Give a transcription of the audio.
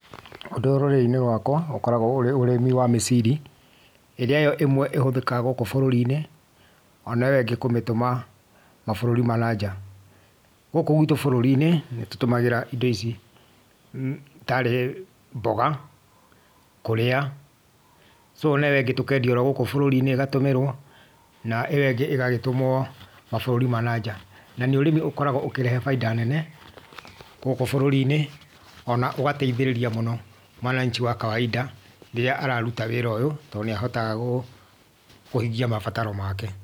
Ũndũ ũyũ rũrĩrĩ-ini rwaka ũkoragwo ũrĩ ũrĩmi wa mĩciri, iria yo ĩmwe ĩhũthĩkaga gũkũ bũrũri-inĩ, ona ĩyo ĩngĩ kũmĩtũma mabũrũri ma na nja. Gũkũ gwitũ bũrũri-inĩ nĩ tũtũmagĩra indo ici taarĩ mboga kũũrĩa, so na ĩyo ĩngĩ tũkendia gũkũ bũrũri-inĩ ĩgatũmĩrwo, na ĩyo ĩngĩ ĩgagĩtũmwo mabũrũri ma na nja. Na nĩ ũrĩmi ũkoragwo ũkĩrehe bainda nene gũkũ bũrũri-inĩ, ona ũgateithĩrĩria mũno mwananchi wa kawainda rĩrĩa araruta wĩra ũyũ tondũ nĩahotaga kũhingia mabataro make.